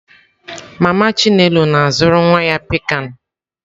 Mama chinelo na-azụrụ nwa ya pikan.